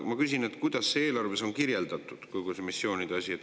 Ma küsin, kuidas on eelarves kirjeldatud kogu see missioonide asi.